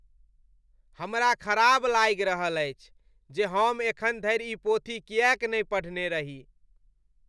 हमरा ख़राब लागि रहल अछि जे हम एखन धरि ई पोथी किएक नहि पढ़ने रही ।